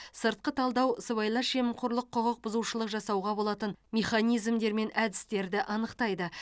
сыртқы талдау сыбайлас жемқорлық құқық бұзушылық жасауға болатын механизмдер мен әдістерді анықтайды